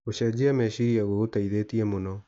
Gũcejia meciria gũgũteithĩtie mũno.